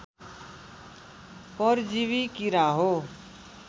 परजीवी किरा हो